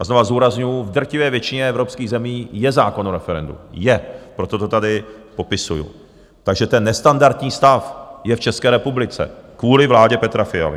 A znovu zdůrazňuji, v drtivé většině evropských zemí je zákon o referendu, je, proto to tady popisuji, takže ten nestandardní stav je v České republice kvůli vládě Petra Fialy.